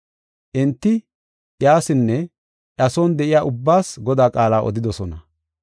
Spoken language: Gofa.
Enti iyasinne iya son de7iya ubbaas Godaa qaala odidosona.